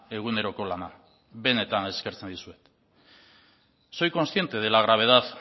eguneroko lana benetan eskertzen dizuet soy consciente de la gravedad